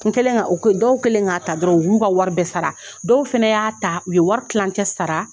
Kelen dɔw kelen k'a ta dɔrɔn u b'u ka wari bɛɛ sara dɔw fana y'a ta u ye wari tilancɛ sara